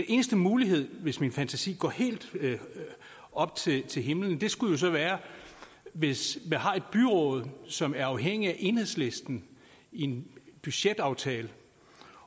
eneste mulighed hvis min fantasi går helt op til til himlen skulle så være hvis man har et byråd som er afhængig af enhedslisten i en budgetaftale